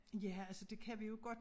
Ja altså det kan vi jo godt